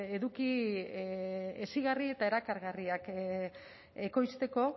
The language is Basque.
eduki hezigarri eta erakargarriak ekoizteko